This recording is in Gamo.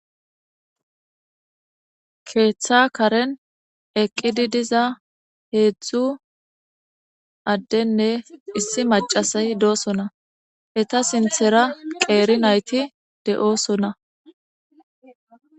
Keththa keren eeqiddi diza hedzdzu addenne issi macasay dosonna eetta siththara qeri naytti de'ossonna